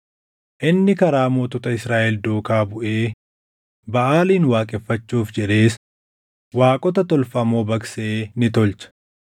Inni karaa mootota Israaʼel duukaa buʼee Baʼaalin waaqeffachuuf jedhees waaqota tolfamoo baqsee ni tolche.